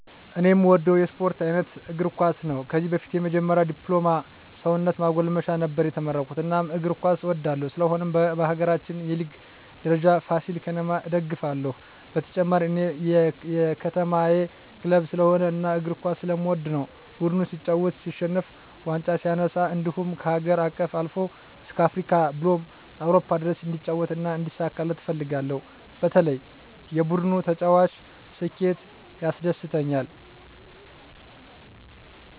እኔ እምወደው የስፓርት አይነት እግርኳስ ነው ከዚህ በፊት የመጀመሪ ድፕሎማ ሰውነት ማጎልመሻ ነበር የተመረኩት እናም እግር ኳስ እወዳለሁ ስለሆነም በሀገራችን የሊግ ደረጃ ፍሲል ከተማ እደግፍለ ሁ በተጨማሪ እኔ የከተማየ ክለብ ስለሆነ እና እግር ኳስ ስለምወድ ነው ቡድኑ ሲጫወት ሲሸንፍ ዋንጫ ሲነሳ እንድሁም ከሀገር አቀፍ አልፎ እስከ አፍሪካ ብሎም አውሮፓ ድረስ እንዲጫወት እና እንዲሳካለት እፈልጋለሁ በተለይ የቡድኑ ተጫዋች ስኬት ያስደስተኛል።